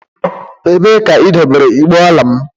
Ebee ka idobere igbe ọla m?